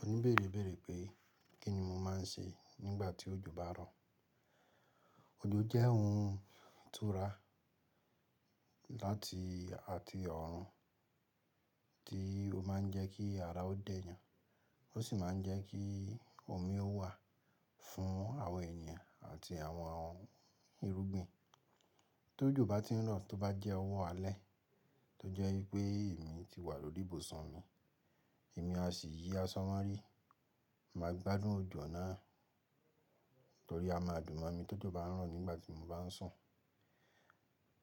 Òní bèrèbére pé kí ni mo máa ń ṣe nígbà tí òjò bá ń rọ̀. Òjò jẹ́ ohun tura láti àti ọ̀run tí ó máa ń jẹ́ kí ara ó dẹ́yan, ó sì máa ń jẹ́ kí omi ó wà fún àwọn ènìyàn àti àwọn irúgbìn. Tó òjò bá ti ń rọ̀, tó bá jẹ́ ọwọ́ alẹ́ tó jẹ́ wípé èmi ti wà lórí ibùsùn mi, èmi a sì yí àsọ mo rí. Máa gbádùn òjò náà torí a máa dùn mọ́ mi tó òjò bá ń rọ̀ nígbà tí mo bá ń sùn.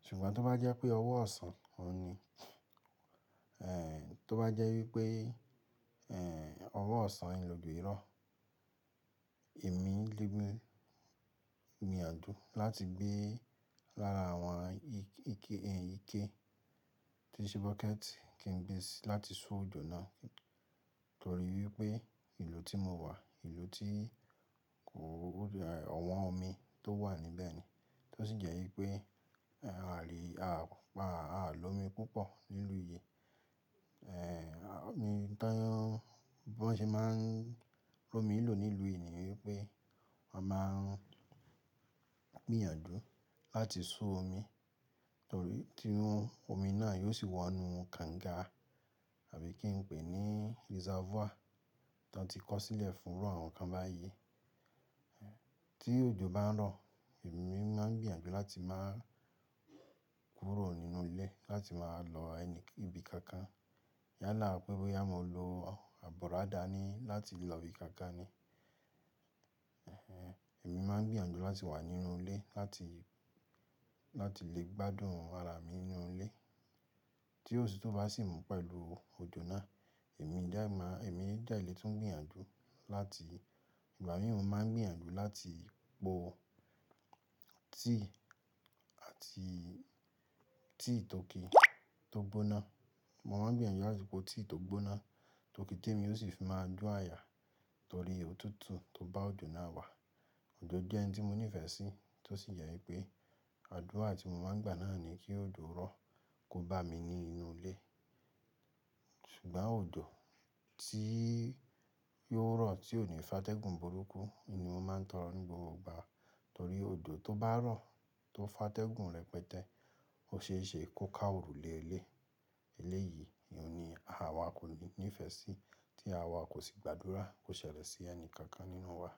Ṣùgbọ́n tó bá jẹ́ pé ọwọ́ ọ̀sán, òhun ní, eh, tó bá jẹ́ wípé, eh, ọwọ́ ọ̀sán nì òjò yí rọ̀, èmi lè mú mi àdú láti gbé lára àwọn ike, eh, ike tí ṣe bucket kí n gbé e sí láti so òjò náà torí wípé ìlú tí mo wà, ìlú tí kò, ọ̀wọ́n omi tó wà níbẹ̀ ni. Tó sì jẹ́ wípé, ààlò omi púpọ̀ nílú yìí. Eh, bí wọ́n ṣe máa ń ro mi lò nílùú yìí ni wípé wọ́n máa ń gbìyànjú láti so omi torí tirun omi náà yóò sì wọ inú kànga àbí kí n pè é ní reservoir tan ti kọ́ sílẹ̀ fún irú àwọn nǹkan báyìí. Ti òjò bá ń rọ̀, èmi máa ń gbìyànjú láti máa kúrò nínú ilé láti máa lọ ẹni ibi kankan. Yálà pé bóyá mo lo àbọ̀rọ́dà ni láti lọ ibi kankan ni. Èmi máa ń gbìyànjú láti wà nínú ilé láti, láti lè gbádùn ara mi nínú ilé. Tí otùtu bá sì mú pẹ̀lú òjò náà, èmi dá, èmi dá ìlétí ń gbìyànjú láti, ìgbà mìíràn máa ń gbìyànjú láti po tea àti tea tọkí tó gbóná. Mo máa ń gbìyànjú láti po tíì tó gbóná, tọkí tẹ́ mi ó sì fi máa jó àyà torí òtútù tó bá òjò náà wà. Òjò jẹ́ ohun tí mo nífẹ̀ẹ́ sí, tó sì jẹ́ wípé àdúrà tí mo máa ń gbà náà ni kí òjò rọ̀ kó bá mi ní inú ilé. Ṣùgbọ́n òjò tí yó rọ̀ tí ò ní fátẹ́gùn burúkú ni mo máa ń tọrọ ní gbogbo ìgbà torí òjò tó bá rọ̀ tó fátẹ́gùn rẹpẹtẹ ó ṣe é ṣe kó ká òrùlé ilé. Elé yìí ni òun ni àwa kò ní ìfẹ́ sí tí àwa kò sì gbàdúrà kó ṣẹlẹ̀ sí ẹni kankan nínú wa.